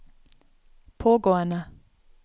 pågående